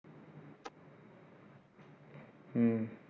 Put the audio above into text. உம்